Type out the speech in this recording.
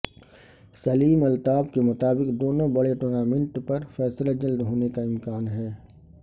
سلیم الطاف کے مطابق دونوں بڑے ٹورنامنٹ پر فیصلہ جلد ہونے کا امکان ہے